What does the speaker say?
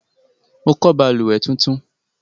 Mo kọ́ balùwẹ́ tuntun